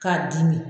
K'a dimi